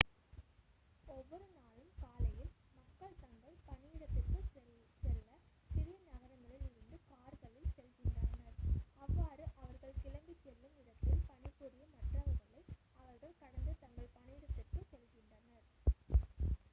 ஒவ்வொரு நாளும் காலையில் மக்கள் தங்கள் பணியிடத்திற்கு செல்ல சிறிய நகரங்களில் இருந்து கார்களில் செல்கின்றனர் அவ்வாறு அவர்கள் கிளம்பிச் செல்லும் இடத்தில் பணிபுரியும் மற்றவர்களை அவர்கள் கடந்து தங்கள் பணியிடத்திற்குச் செல்கின்றனர்